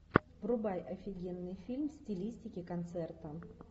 врубай офигенный фильм в стилистике концерта